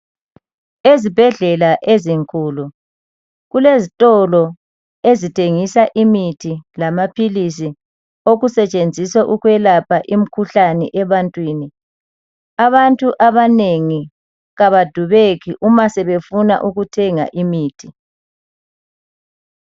Ezibhedlela ezinkulu kulezitolo ezithengisa imithi lamaphilisi okusetshenziswa ukwelapha imikhuhlane ebantwini .Abantu abanengi abadubeki uma sebefuna ukuthenga imithi .